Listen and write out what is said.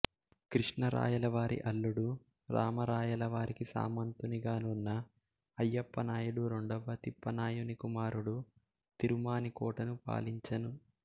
క్రిష్ణరాయలవారి అల్లుడు రామరాయలవారికి సామంతునిగా నున్న అయ్యప్ప నాయుడు రెండవ తిప్పానాయుని కుమారుడు తిరుమాణికోట ను పాలించెను